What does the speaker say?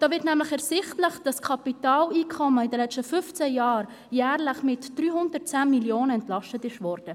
Dabei wird ersichtlich, dass Kapitaleinkommen in den letzten fünfzehn Jahren jährlich mit 310 Mio. Franken entlastet wurden.